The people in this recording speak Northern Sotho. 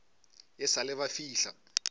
e sa le ba fihla